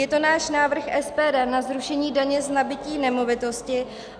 Je to náš návrh SPD na zrušení daně z nabytí nemovitosti.